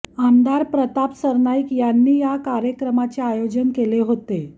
आमदार प्रताप सरनाईक यांनी या कार्यक्रमाचे आयोजन केले होते